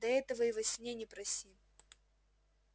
да этого и во сне не проси